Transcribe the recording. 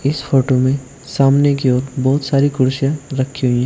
इस फोटो में सामने की ओर बहुत सारी कुर्सियां रखी हुई हैं।